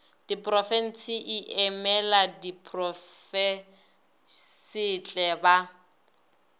diporofense e emela diprofensetle ba